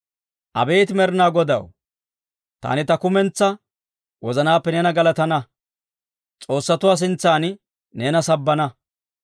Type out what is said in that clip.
Abeet Med'inaa Godaw, taani ta kumentsaa wozanaappe neena galatana; s'oossatuwaa sintsan neena sabbana.